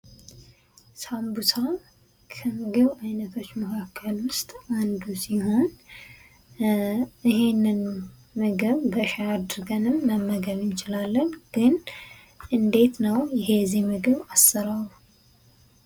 ሳምቡሳ ከምግብ ዓይነቶች መካከል ውስጥ አንዱ ሲሆን ይህንን ምግብ በሻይ አድርገን መመገብ እንችላለን ። ግን እንዴት ነው የዚህ ምግብ አሰራሩ ?